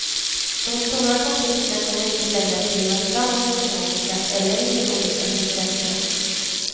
De stora konflikterna kommer inte längre att drivas fram av ekonomiska eller ideologiska motsättningar.